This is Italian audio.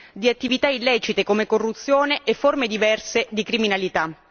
di attività illecite, come corruzione e forme diverse di criminalità.